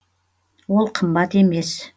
ол қымбат емес